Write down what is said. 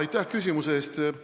Aitäh küsimuse eest!